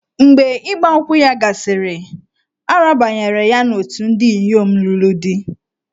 Mgbe Ịgba nkwụ ya gasịrị, a rabanyere ya n'òtù ndị inyom lụrụ di.